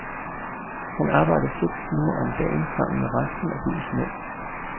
Han arbejder seks timer om dagen sammen med resten af byens mænd.